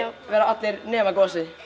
væri allir nema gosi